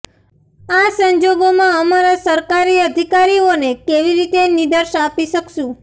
આ સંજોગોમાં અમારા સરકારી અધિકારીઓને કેવી રીતે નિર્દેશ આપી શકશું